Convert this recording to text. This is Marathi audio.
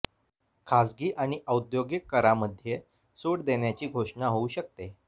खासगी आणि औद्योगिक करामध्ये सूट देण्याची घोषणा होऊ शकते